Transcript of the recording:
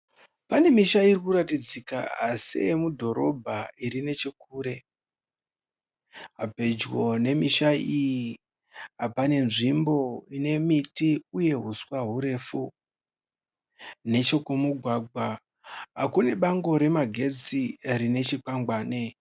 Pane misha irikuratidza seye mudhorobha iri nechekure. Pedyo ne misha iyi pane nzvimbo inemiti uye huswa hurefu. Nechekumugwagwa kune bango remagetsi rine chikwangwani.